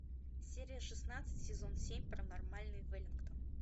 серия шестнадцать сезон семь паранормальный веллингтон